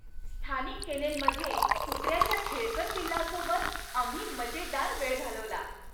स्थानिक केनेलमध्ये कुत्र्याच्या खेळकर पिल्लासोबत आम्ही मजेदार वेळ घालवला.